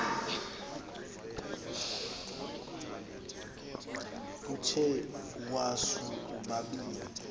uthe iwasu ubabini